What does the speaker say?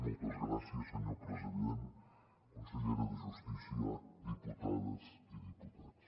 moltes gràcies senyor president consellera de justícia diputades i diputats